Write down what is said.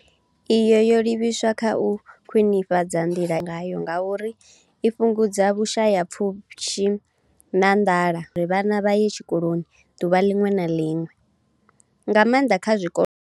Iyi yo livhiswa kha u khwinifhadza nḓila ine vhana vha guda ngayo ngauri i fhungudza vhushayapfushi na nḓala khathihi na u ita uri vhana vha ye tshikoloni ḓuvha ḽiṅwe na ḽiṅwe nga maanḓa kha zwikolo zwo shayaho.